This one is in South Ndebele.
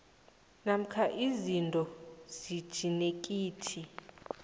namkha izinto zejinethiki